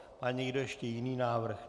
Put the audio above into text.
Má někdo ještě jiný návrh?